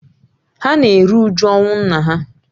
Ha na-eru uju ọnwụ nna ha